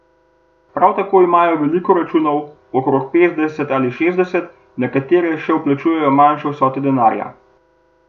Prav tako imajo veliko računov, okrog petdeset ali šestdeset, na katere se vplačujejo manjše vsote denarja.